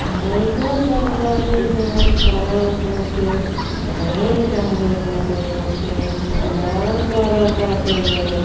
लइका सब बाटे जउन खड़ा होक बैग टँगले बाटे। बस के इंतजार करताटे लोग।